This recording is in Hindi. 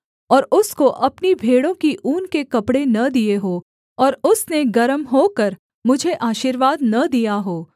और उसको अपनी भेड़ों की ऊन के कपड़े न दिए हों और उसने गर्म होकर मुझे आशीर्वाद न दिया हो